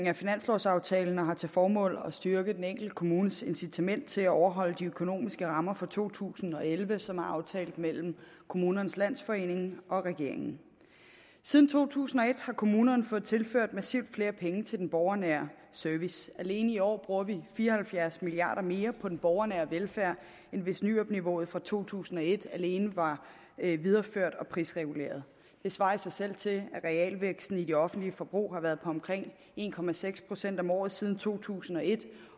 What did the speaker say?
af finanslovaftalen og formålet er at styrke den enkelte kommunes incitament til at overholde de økonomiske rammer for to tusind og elleve som er aftalt mellem kommunernes landsforening og regeringen siden to tusind og et har kommunerne fået tilført massivt flere penge til den borgernære service alene i år bruger vi fire og halvfjerds milliard kroner mere på den borgernære velfærd end hvis nyrupniveauet fra to tusind og et alene var videreført og prisreguleret det svarer i sig selv til at realvæksten i det offentlige forbrug har været på omkring en procent procent om året siden to tusind og et